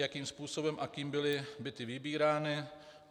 Jakým způsobem a kým byly byty vybírány?